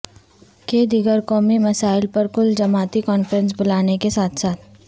کہ دیگر قومی مسائل پر کل جماعتی کانفرنس بلانے کے ساتھ ساتھ